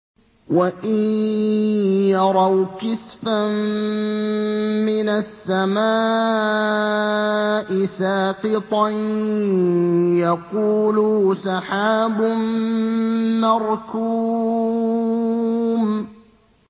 وَإِن يَرَوْا كِسْفًا مِّنَ السَّمَاءِ سَاقِطًا يَقُولُوا سَحَابٌ مَّرْكُومٌ